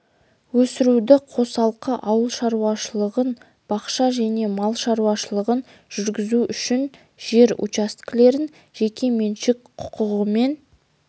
өсіруді қосалқы ауыл шаруашылығын бақша және мал шаруашылығын жүргізу үшін жер учаскелерін жеке меншік құқығымен